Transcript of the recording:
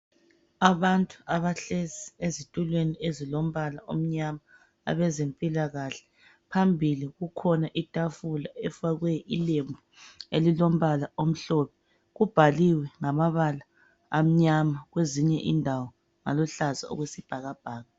Abantu abahlezi ezitulweni ezilombala omnyama, abezempilakahle. Phambili kukhona itafula efakwe ilembu elilombala omhlophe. Kubhaliwe ngamabala amnyama, kwezinye indawo ngamabala aluhlaza okwesibhakabhaka.